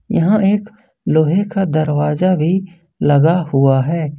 यहां एक लोहे का दरवाजा भी लगा हुआ है।